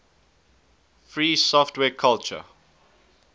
free software culture